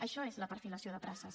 això és la perfilació de places